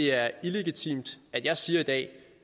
er illegitimt at jeg siger i dag